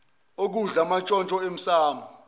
okudla amantshontsho emsamo